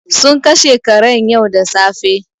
Sun kashe karen yau da safe.